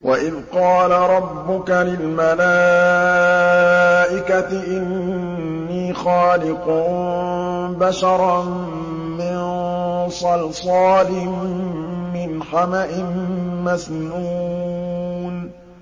وَإِذْ قَالَ رَبُّكَ لِلْمَلَائِكَةِ إِنِّي خَالِقٌ بَشَرًا مِّن صَلْصَالٍ مِّنْ حَمَإٍ مَّسْنُونٍ